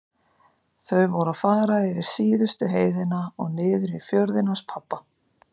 Þau voru að fara yfir síðustu heiðina og niður í fjörðinn hans pabba.